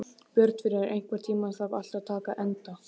Björnfríður, einhvern tímann þarf allt að taka enda.